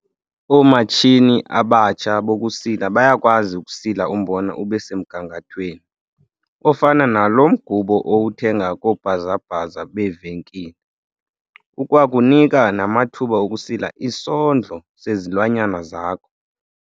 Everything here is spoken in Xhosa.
Oomatshini abatsha bokusila bayakwazi ukusila umbona ube semgangathweni ofana naloo mgubo owuthenga koobhazabhaza beevenkile. Ukwakunika namathuba okusila isondlo sezilwanyana zakho.